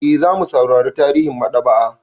E, za mu saurara tarihin maɗaba'a.